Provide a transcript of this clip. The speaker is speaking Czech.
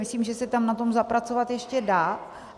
Myslím, že se tam na tom zapracovat ještě dá.